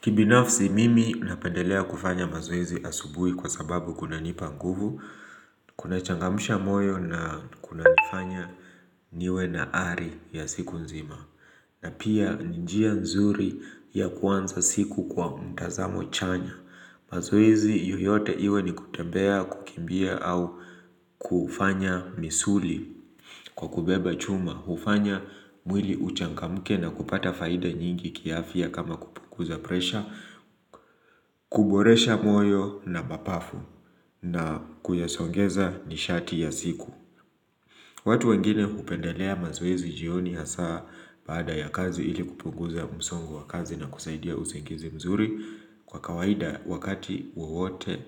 Kibinafsi mimi napendelea kufanya mazoezi asubuhi kwa sababu kuna nipa nguvu, kuna changamsha moyo na kuna nifanya niwe na hali ya siku nzima, na pia njia nzuri ya kuanza siku kwa mtazamo chanya. Mazoezi yoyote iwe ni kutembea kukimbia au kufanya misuli kwa kubeba chuma hufanya mwili uchangamke na kupata faida nyingi kiafya kama kupunguza presha kuboresha moyo na mapafu na kuyasongeza nishati ya siku watu wengine hupendelea mazoezi jioni hasa baada ya kazi ili kupunguza msongo wa kazi na kusaidia usingizi mzuri Kwa kawaida wakati wowote